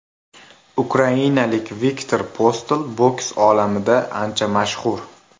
Ukrainalik Viktor Postol boks olamida ancha mashhur.